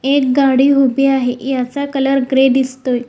एक गाडी उभी आहे याचा कलर ग्रे दिसतोय.